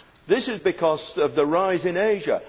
This is because of the rise in Asia.